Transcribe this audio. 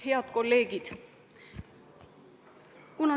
Head kolleegid!